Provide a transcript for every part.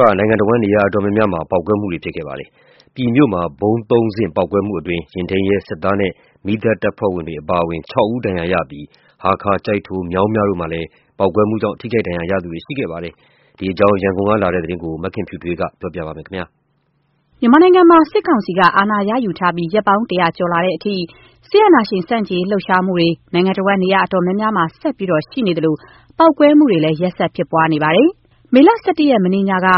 က နိုင်ငံတစ်ဝန်း နေရာအတော်များများမှာ ပေါက်ကွဲမှုတွေ ဖြစ်ပွားခဲ့ပါတယ်။ ပြည်မြို့ ဗုံးသုံးဆင့် ပေါက်ကွဲမှုမှာ ယာဉ်ထိန်းရဲ၊ စစ်သား၊ မီးသတ်တပ်ဖွဲ့အပါအဝင် ၆ ဦးဒဏ်ရာရရှိပြီး ဟားခါး၊ ကျိုက်ထို၊ မြောင်းမြတို့မှာလည်း ပေါက်ကွဲမှုကြောင့် ထိခိုက်ဒဏ်ရာရရှိသူတွေလည်း ရှိနေပါတယ်။ ဒီအကြောင်း ရန်ကုန်ကလာတဲ့ သတင်းကိုတော့ မခင်ဖြူထွေးက တင်ပြပေးပါမယ်။ မြန်မာနိုင်ငံမှာ စစ်ကောင်စီက အာဏာရယူထားပြီး ရက်ပေါင်း ၁၀၀ ကျော်လာတဲ့အထိ စစ်အာဏာရှင်ဆန့်ကျင်ရေးလှုပ်ရှားမှုတွေ နိုင်ငံတစ်ဝန်း နေရာအများအပြားမှာ ဆက်ရှိနေသလို ပေါက်ကွဲမှုလည်း ရက်ဆက်ဖြစ်ပွားနေပါတယ်။ မေလ ၁၁ ရက်၊ မနေ့ညမှာ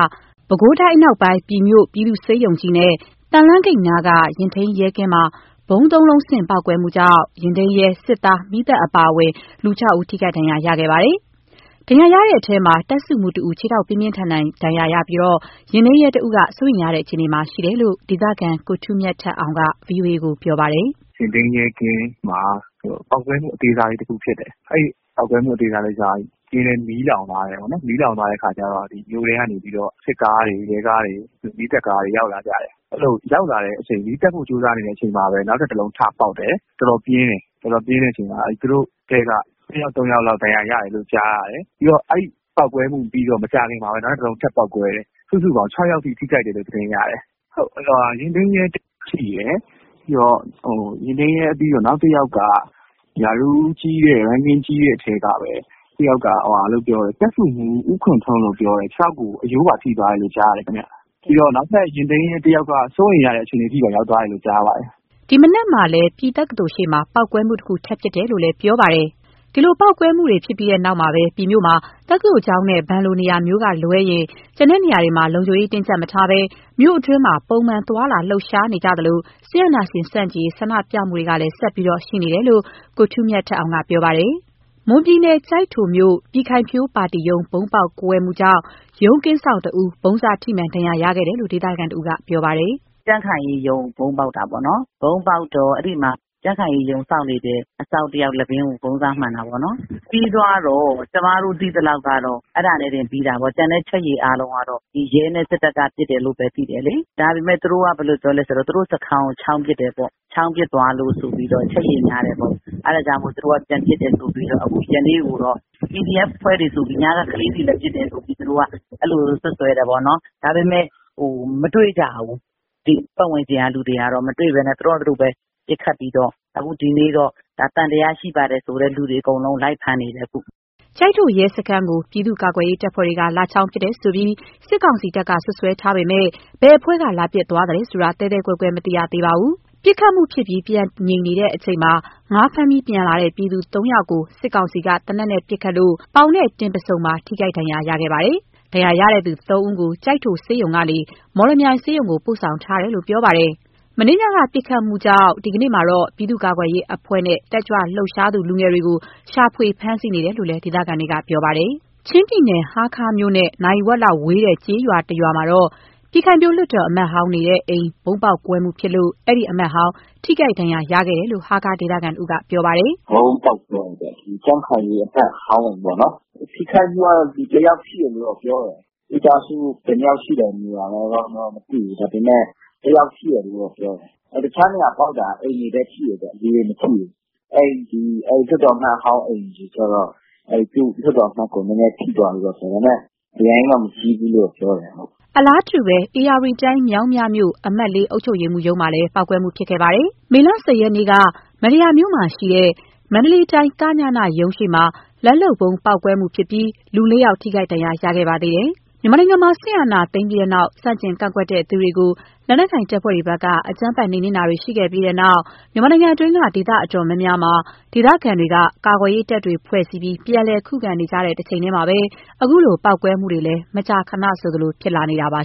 ပဲခူးတိုင်းအနောက်ပိုင်း ပြည်မြို့ ပြည်သူ့ဆေးရုံကြီးနဲ့ သံလမ်းဂိတ်နားက ယာဉ်ထိန်းရဲကင်းမှာ ဗုံးသုံးလုံးဆင့် ပေါက်ကွဲမှုကြောင့် ယာဉ်ထိန်းရဲ၊ စစ်သား၊ မီးသတ်အပါအဝင် ၆ ဦး ထိခိုက်ဒဏ်ရာခဲ့ပါတယ်။ ဒဏ်ရာရတဲ့အထဲမှာ တပ်စုမှူးတစ်ဦး ခြေထောက်ပြင်းထန်ဒဏ်ရာနဲ့ ယာဉ်ထိန်းရဲတစ်ဦးက စိုးရိမ်ရတဲ့ အခြေအနေမှာရှိတယ်လို့ ဒေသခံ ကိုထူးမြတ်ထက်အောင်က ဗွီအိုအေကို ပြောပါတယ်။ “ယာဉ်ထိန်းရဲကင်းမှာ ပေါက်ကွဲမှု အသေးစားလေး တစ်ခုဖြစ်တယ်။ အဲ့ဒီပေါက်ကွဲမှုအသေးစားလည်းကျတော့ ကင်းလည်း မီးလောင်သွားတယ်တယ်ပေါ့နော်။ မီးလောင်သွားတဲ့ အခါကျတော့ မြို့ထဲကနေပြီးတော့ စစ်ကားတွေ၊ ရဲကားတွေ၊ မီးသတ်ကားတွေ ရောက်လာကြတယ်။ အဲ့ဒီလိုရောက်လာတဲ့အချိန် မီးသတ်ဖို့ ကြိုးစားနေတဲ့အချိန်မှာ နောက်ထပ်တစ်လုံးထပေါက်တယ်။ တော်တော်ပြင်းတယ်။ တော်တော်ပြင်းတဲ့အချိန်မှာ သူတို့အထဲက နှစ်ယောက်၊ သုံးယောက်လောက် ဒဏ်ရာရတယ်လို့ ကြားရတယ်။ ပြီးတော့ အဲ့ဒီပေါက်ကွဲမှု ပြီးတော့ မကြာခင်မှာပဲ နောက်ထပ်တစ်လုံးထပ်ပေါက်ကွဲတယ်။ စုစုပေါင်း ၆ ယောက်အထိ ထိခိုက်တယ်လို့ သတင်းရတယ်။ ယာဉ်ထိန်းရဲ ထိတယ်။ ယာဉ်ထိန်းရဲ ပြီးတော့ နောက်တစ်ယောက်က ရာထူးကြီးတဲ့ အထဲကပဲ တစ်ယောက်က တပ်စုမှူး ဦးခွန်ထွန်းလို့ ပြောတယ်။ ခြေထောက်ကို အရိုးပါ ထိသွားတယ်လို့ ကြားတယ်ခင်ဗျ။ ပြီးတော့ နောက်ထပ်ယာဉ်ထိန်းရဲ တစ်ယောက်က စိုးရိမ်ရတဲ့ အခြေအနေအထိပါ ရောက်သွားလို့ကြားတယ်။” ဒီမနက်မှာလည်း ပြည်တက္ကသိုလ်ရှေ့မှာ ပေါက်ကွဲမှုတစ်ခု ထပ်ဖြစ်တယ်လို့လည်း ပြောပါတယ်။ ပြည်မြို့မှာ ပေါက်ကွဲမှုဖြစ်ပွားပြီးနောက် တက္ကသိုလ်ကျောင်းနဲ့ ဘဏ်တို့လို နေရာမျိုးက လွဲရင် လုံခြုံရေးတင်းကြပ်မထားဘဲ မြို့အတွင်းမှာ မှန်ပုံသွားလာလှုပ်ရှားနေကြသလို စစ်အာဏာရှင်ဆန့်ကျင်ရေး ဆန္ဒပြမှုလည်း ဆက်ရှိနေတယ်လို့ ကိုထူးမြတ်ထက်အောင်က ပြောပါတယ်။ မွန်ပြည်နယ်၊ ကျိုက်ထိုမြို့ ပြည်ခိုင်ဖြိုးပါတီရုံး ဗုံးပေါက်ကွဲမှုကြောင့် ရုံးကင်းစောင့်တစ်ဦး ဗုံးစထိမှန် ဒဏ်ရာရှိခဲ့တယ်လို့ ဒေသခံတစ်ဦးက ပြောပါတယ်။ “ကြံ့ခိုင်ရေးရုံးကို ဗုံးပေါက်တာပေ့ါနော်။ ဗုံးပေါက်တော့ အဲ့ဒီမှာ ကြံ့ခိုင်ရေးရုံးစောင့်နေတဲ့ အစောင့်တစ်ယောက် လည်ပင်းကို ဗုံးစမှန်တာပေ့ါနော်။ ပြီးသွားတော့ ကျမတို့သိသလောက်ကတော့ အဲ့ဒါနဲ့တင်ပြီးသွားတာ။ ကျန်တဲ့ အချက်ရေအားလုံးကတော့ ဒီရဲနဲ့ စစ်တပ်က ပစ်တယ်လို့ပဲ သိတယ်လေ။ ဒါပေမဲ့ သူတို့က ဘယ်လိုပြောလဲဆိုတော့ သူတို့စခန်းကို ချောင်းပစ်တယ်ပေါ့။ ချောင်းပစ်သွားလို့ ဆိုပြီးတော့ အချက်အရေ များတယ်ပေ့။ါ အဲ့ဒါကြောင့်မို့ သူတို့က ပြန်ပစ်တယ်ဆိုပြီးတော့။ အခုကပြန်ပြီးတော့ PDF အဖွဲ့တွေဆိုပြီး ညက ကလေးတွေလည်း ပစ်တယ်လို့ သူတို့ကတော့ အဲ့ဒီလိုစွပ်စွဲတယ်ပေါ့နော်။ ဒါပေမဲ့ မတွေ့ကြဘူး။ ဒီပတ်ဝန်းကျင်က လူတွေက မတွေ့ဘူး။ သူတို့ဟာ သူတို့ပဲ ပစ်ခတ်ပြီးတော့။ အခုဒီနေ့တော့ သံသယရှိပါတယ်ဆိုတဲ့ လူတွေ အကုန်လုံး လိုက်ဖမ်းနေတယ် အခု။” ကျိုက်ထို ရဲစခန်းကို ပြည်သူ့ကာကွယ်ရေးတပ်ဖွဲ့က လာချောင်းပစ်တယ်ဆိုပြီး စစ်ကောင်စီတပ်က စွပ်စွဲထားပေမဲ့ ဘယ်အဖွဲ့က လာပစ်သွားသလဲဆိုတာ သဲသဲကွဲကွဲ မသိရသေးပါဘူး။ ပစ်ခတ်မှုဖြစ်ပြီး ပြန်ငြိမ်နေတဲ့အချိန်မှာ ငါးဖမ်းပြီး ပြန်လာတဲ့ ပြည်သူသုံးဦးကို စစ်ကောင်စီက သေနတ်နဲ့ ပစ်ခတ်လို့ ပေါင်၊ တင်ပါးဆုံ ထိခိုက်ဒဏ်ရာရှိခဲ့ပါတယ်။ ဒဏ်ရာရရှိသူ သုံးဦးကို ကျိုက်ထိုဆေးရုံကနေ မော်လမြိုင်ဆေးရုံကို ပိုဆောင်ထားတယ်လို့ ပြောပါတယ်။ မနေ့ညက ပစ်ခတ်မှုကြောင့် ဒီကနေ့မှာတော့ ပြည်သူ့ကာကွယ်ရေးအဖွဲ့နဲ့ တက်ကြွလှုပ်ရှားသူ လူငယ်တွေကို ရှာဖွေဖမ်းဆီးနေတယ်လို့ ဒေသခံတွေ ပြောပါတယ်။ ချင်းပြည်နယ်၊ ဟားခါးမြို့နဲ့ နာရီဝက်လောက်ဝေးတဲ့ ကျေးရွာတစ်ရွာမှာတော့ ပြည်ခိုင်ဖြိုးလွှတ်တော် အမတ်ဟောင်းနေတဲ့ အိမ် ဗုံးပေါက်ကွဲမှုဖြစ်လို့ အဲ့ဒီအမတ်ဟောင်း ထိခိုက်ဒဏ်ရာရရှိခဲ့တယ်လို့ ဟားခါးဒေသခံတစ်ဦးက ပြောပါတယ်။ “ဗုံးပေါက်ကွဲတယ်ပေါ့။ ဒီကြံ့ခိုင်ရေးအမတ်ဟောင်းပေါ့နော်။ ထိခိုက်မှုကတော့ လူတစ်ယောက်ထိတယ်လို့ ပြောတယ်။ မိသားစုဘယ်နှစ်ယောက်ရှိလဲဆိုတာကတော့ မသိဘူး။ ဒါပေမဲ့ တစ်ယောက်ရှိတယ်လို့တော့ ပြောတယ်။ တခြားနေရာပေါက်တာ အိမ်တွေပဲ ထိတယ် လူတွေမထိဘူး။ အဲ့ဒီ လွှတ်တော်အမတ်ဟောင်းအိမ်တွေကျတော့ အဲ့ဒီသူ့လွှတ်တော်အမတ်ကို နည်းနည်းထိသွားတယ်လို့ပြောတယ်။ ဒါပေမဲ့ အရမ်းကြီးတော့ မကြီးဘူးလို့ ပြောတယ်။” အလားတူပဲ ဧရာဝတီတိုင်း၊ မြောင်းမြမြို့ အမှတ် ၄ အုပ်ချုပ်ရေးမှူးရုံးမှာလည်း ပေါက်ကွဲမှုဖြစ်ခဲ့ပါတယ်။ မေလ ၁၀ ရက်နေ့က မန္တရာမြို့မှာရှိတဲ့ မန္တလေးတိုင်း က.ည.န ရုံးရှေ့ လက်လုပ်ဗုံးပေါက်မှုဖြစ်ပြီး လူ ၄ ဦးထိခိုက်ဒဏ်ရာ ရခဲ့ပါသေးတယ်။ မြန်မာနိုင်ငံမှာ စစ်အာဏာသိမ်းပြီးတဲ့နောက် ဆန့်ကျင် ကန့်ကွက်သူတွေကို လက်နက်ကိုင်တပ်ဖွဲ့တွေဘက်က အကြမ်းဖက် နှိမ်နင်းမှုတွေ ရှိခဲ့ပြီးတဲ့နောက်ပိုင်း မြန်မာနိုင်ငံအတွင်းက နေရာဒေသ အတော်များများမှာ ဒေသခံတွေက ကာကွယ်ရေးတပ်တွေ ဖွဲ့စည်းပြီး ပြန်လည် ခုခံနေကြတဲ့ တချိန်တည်းမှာပဲ အခုလို ပေါက်ကွဲမှုတွေလည်း မကြာခဏဆိုလို ဖြစ်ပေါ်လာနေတာပါ